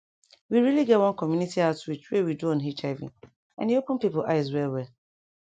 we really get one community outreach wey we do on hiv and e open pipo eyes well well